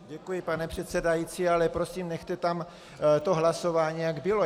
Děkuji, pane předsedající, ale prosím, nechte tam to hlasování, jak bylo.